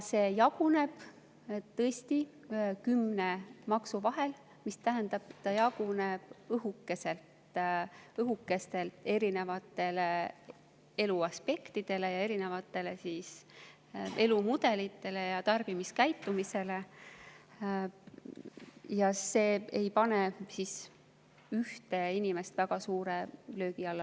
See jaguneb tõesti kümne maksu vahel, mis tähendab, et see jaguneb õhukeselt erinevatele eluaspektidele, erinevatele elumudelitele ja tarbimiskäitumistele, see ei pane ühte inimest loodetavasti väga suure löögi alla.